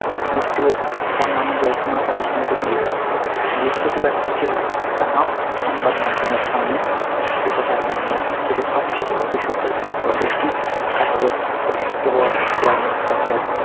নিশ্চয়ই নানা জল্পনা অবসান ঘটে গেছে বৃহস্পতিবার দেশের তামাম সংবাদমাধ্যমের সামনে এ কথা জানালেন দেশের সবচেয়ে বড় বেসরকারি হাসপাতাল গোষ্ঠী Apollo র অশিক্ষিত বর chairman doctor